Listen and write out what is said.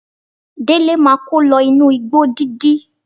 Délé máa kó lọ inú igbó dídí.